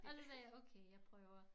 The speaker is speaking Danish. Og så sagde jeg okay jeg prøver